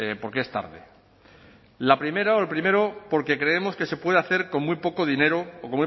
porque es tarde la primera o el primero porque creemos que se puede hacer con muy poco dinero o